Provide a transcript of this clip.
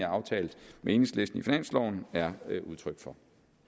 aftalt med enhedslisten i finansloven er udtryk for